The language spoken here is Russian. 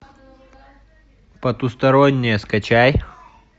потустороннее скачай